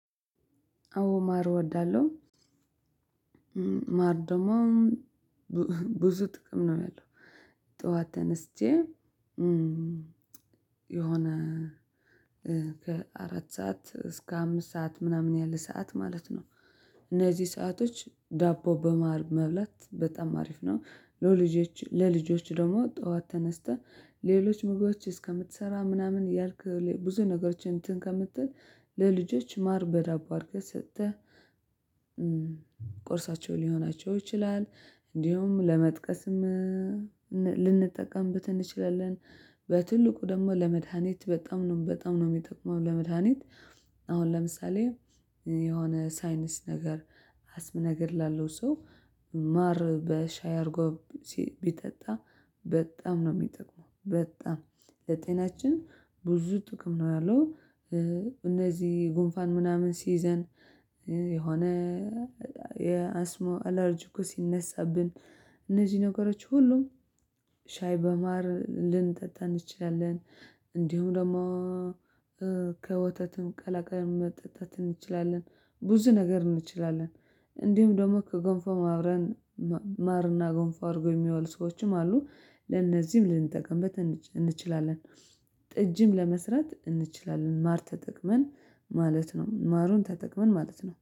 አዎ ማር እወዳለሁ ማር ደግሞ ብዙ ጥቅም ነው ያለው ጠዋት ተነስቼ የሆነ ከአራት ሰዓት እስከ አምስት ሰዓት ምናምን ያለ ሰዓት ማለት ነው እነዚህ ሰአቶች ዳቦ በማር መብላት በጣም አሪፍ ነው ለልጆች ለልጆች ደግሞ ጠዋት ተነስተህ ሌሎች ምግቦች እስከምትሰራ ምናምን ያልክ ብዙ ነገሮችን እንትን ከምትል ለልጆች ማር በዳቦ አድርገህ ሰጥተህ ስትል ቁርሳቸው ሊሆናቸው ይችላል እንዲሁም ለመጥቀስም ልንጠቀምበት እንችላለን በትልቁ ደግሞ ለመድሃኒት በጣም ነው በጣም ነው የሚጠቅመው ለመድሃኒት አሁን ለምሳሌ የሆነ ሳይነስ ነገር አስም ነገር ላለው ሰው ማር በሻይ አድርጎ ቢጠጣ በጣም ነው የሚጠቅመው በጣም ለጤናችን ብዙ ጥቅም ነው ያለው እነዚህ ጉንፋን ምናምን ሲይዘን የሆነ የአስሞ አላርጂኩ ሲነሳብን እነዚህ ነገሮች ሁሉም ሻይ በማር ልንጠጣ እንችላለን እንዲሁም ደግሞ ከወተትም ቀላቅለን መጠጣት እንችላለን። ብዙ ነገር እንችላለን እንዲሁም ደግሞ ከገንፎ አብረን ማርና ገንፎ አድርጎ የሚበሉ ሰዎችም አሉ ለእነዚህም ልንጠቀምበት እንችላለን ጥጅም ለመስራት እንችላለን ማር ተጠቅመን ማለት ነው ማሩን ተጠቅመን ማለት ነው።